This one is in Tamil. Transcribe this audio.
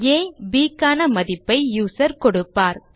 ஆ மற்றும் b க்கான மதிப்பை யூசர் கொடுப்பார்